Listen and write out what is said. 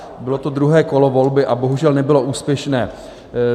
Bylo to druhé kolo volby a bohužel nebylo úspěšné.